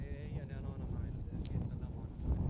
Yəni elə analıqdır, gedəcək analığa.